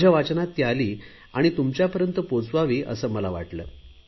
माझ्या वाचण्यात ती आली आणि तुमच्यापर्यंत पोहचावी असे मला वाटले